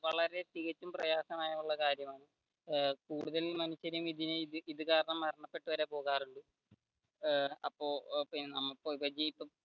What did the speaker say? വളരെ തികച്ചും പ്രായാസമായുള്ളൊരു കാര്യമാണ് കൂടുതലും മനുഷ്യരും ഇത് കാരണം മരണപെട്ടു വരെ പോകാറുണ്ട് ഏർ